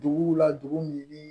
Duguw la dugu min ni